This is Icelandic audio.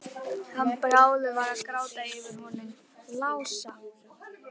Hann Bárður að gráta yfir honum Lása!